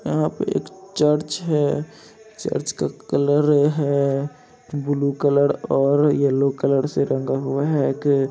यहां पर एक चर्च है चर्च का कलर है ब्लू कलर और येलो कलर से रंगा हुआ हुए हैं कि---